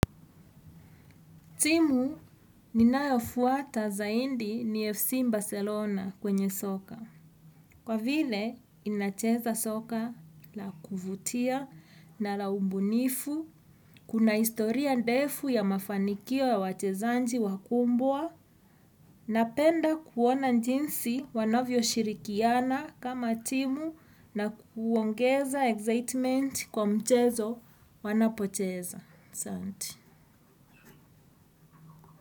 Timu ninayofuata zaindi ni FC Barcelona kwenye soka. Kwa vile, inacheza soka la kuvutia na la ubunifu, kuna historia ndefu ya mafanikio ya wachezanji wakumbwa, napenda kuona njinsi wanavyo shirikiana kama timu na kuongeza excitement kwa mchezo wanapocheza. Sante.